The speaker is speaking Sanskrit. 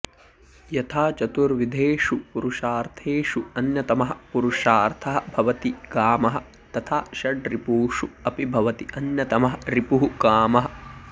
यथा चतुर्विधेषु पुरुषार्थेषु अन्यतमः पुरुषार्थः भवति कामः तथा षड्रिपुषु अपि भवति अन्यतमः रिपुः कामः